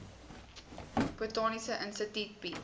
botaniese instituut bied